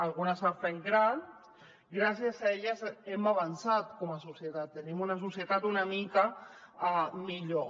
algunes s’han fet grans gràcies a elles hem avançat com a societat tenim una societat una mica millor